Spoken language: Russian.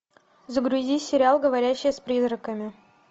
загрузи сериал говорящая с призраками